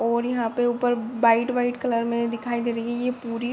और यहाँ पे ऊपर वाइट वाइट कलर में दिखाई दे रही है ये पूरी।